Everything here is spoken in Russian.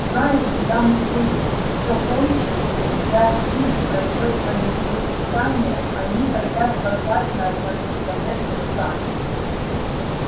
знаешь когда мы здесь все кончим я спиди пройдёт полевые испытания они хотят послать нас на межпланетную станцию